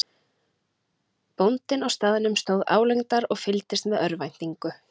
Bóndinn á staðnum stóð álengdar og fylgdist með í örvæntingu.